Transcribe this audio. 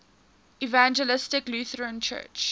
evangelical lutheran church